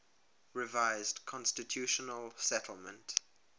revised constitutional settlement